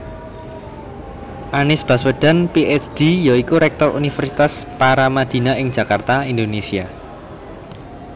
Anies Baswedan Ph D ya iku rektor Universitas Paramadina ing Jakarta Indonesia